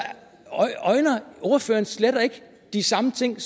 ordføreren slet ikke de samme ting